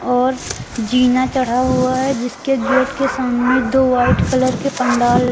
और जीना चढ़ा हुआ है जिसके गेट के सामने दो वाइट कलर के पंडाल --